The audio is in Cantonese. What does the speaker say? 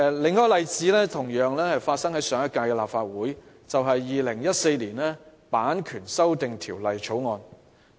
另一個例子是上屆立法會審議的《2014年版權條例草案》。